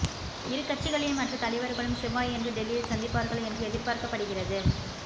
இரு கட்சிகளின் மற்ற தலைவர்களும் செவ்வாயன்று டெல்லியில் சந்திப்பார்கள் என்று எதிர்பார்க்கப்படுகிறது